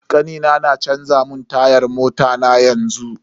Kanina na canza mun tayan mota na yanzu.